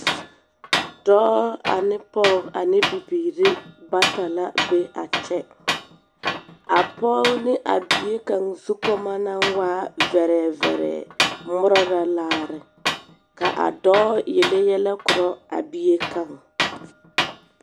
Dͻͻ ane pͻge ane bibiiri bata la be a kyԑ. A pͻge ne a bie kaŋa zukͻmͻ naŋ waa vԑrԑԑvԑrԑԑ ŋmorͻ la laare, ka a dͻͻ yele yԑlԑ korͻ a bie kaŋ.